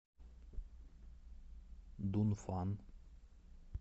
дунфан